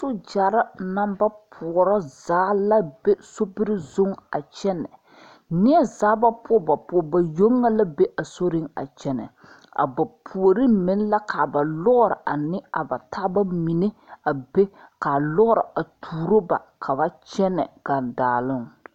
Sogyɛre namba poɔra zaa la be sobiri zuŋ a kyɛnɛ neɛ zaa ba poɔ ba poɔ ba yoŋ meŋ la be a soriŋ a kyɛnɛ a ba puoreŋ meŋ la ka ba lɔɔre ane a ba taaba mine a be kaa lɔɔre a tuuro ba ka ba kyɛnɛ gaŋdaaloŋ.